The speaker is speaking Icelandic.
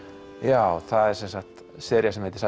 já það er sem sagt sería sem heitir